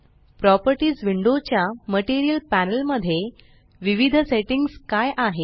properties window च्या material panel मध्ये विविध सेट्टिंग्स काय आहे